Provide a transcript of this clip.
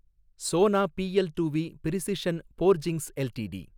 Sona BLW precision forgings LTD